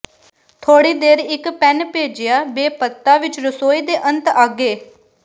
ਥੋੜ੍ਹੀ ਦੇਰ ਇੱਕ ਪੈਨ ਭੇਜਿਆ ਬੇ ਪੱਤਾ ਵਿੱਚ ਰਸੋਈ ਦੇ ਅੰਤ ਅੱਗੇ